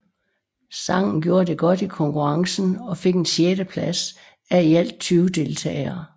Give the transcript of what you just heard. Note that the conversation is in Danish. Sangen gjorde det godt i konkurrencen og fik en sjetteplads af i alt 20 deltagere